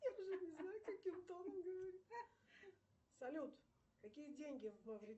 салют какие деньги в